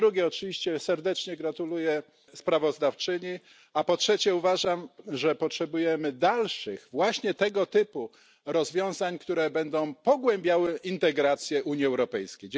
Po drugie, oczywiście serdecznie gratuluję sprawozdawczyni, a po trzecie, uważam, że potrzebujemy dalszych właśnie tego typu rozwiązań, które będą pogłębiały integrację Unii Europejskiej.